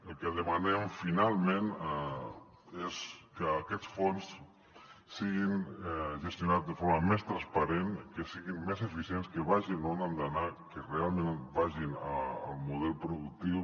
el que demanem finalment és que aquests fons siguin gestionats de forma més transparent i que siguin més eficients que vagin on han d’anar que realment vagin al model productiu